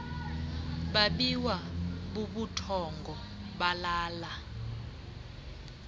babiwa bubuthongo balala